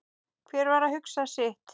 Hver var að hugsa sitt.